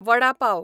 vada pav